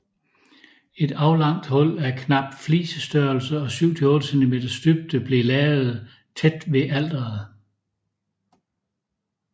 Et aflangt hul af knap flisestørrelse og syv til otte centimeters dybde blev lavet tæt ved alteret